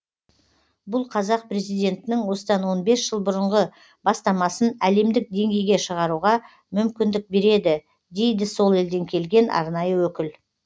бұл қазақ президентінің осыдан он бес жыл бұрынғы бастамасын әлемдік деңгейге шығаруға мүмкіндік береді дейді сол елден келген арнайы өкіл